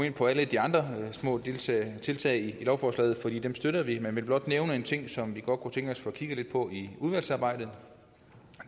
ind på alle de andre små tiltag tiltag i lovforslagene for dem støtter vi men jeg vil blot nævne en ting som vi godt kunne tænke os at få kigget på i udvalgsarbejdet